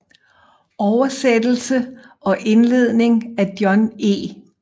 Oversættelse og indledning af John E